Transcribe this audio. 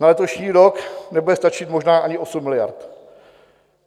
Na letošní rok nebude stačit možná ani 8 miliard.